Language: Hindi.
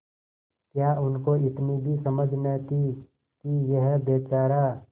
क्या उनको इतनी भी समझ न थी कि यह बेचारा